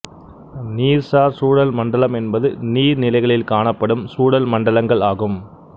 நீர்சார் சூழல் மண்டலம் என்பது நீர்நிலைகளில் காணப்படும் சூழல் மண்டலங்கள் ஆகும்